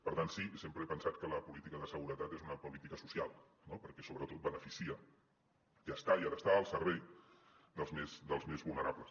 per tant sí sempre he pensat que la política de seguretat és una política social perquè sobretot beneficia i està i ha d’estar al servei dels més vulnerables